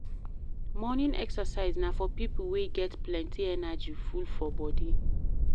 Morning exercise na for pipo wey get plenty energy full for body